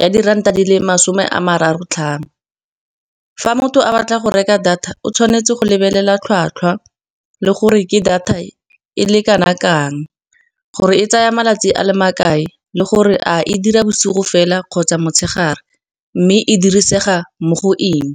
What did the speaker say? ya diranta di le masome a mararo tlhano. Fa motho a batla go reka data o tshwanetse go lebelela tlhwatlhwa le gore ke data e e le kanakang gore e tsaya malatsi a le makae le gore a e dira bosigo fela kgotsa motshegare mme e dirisega mo go eng.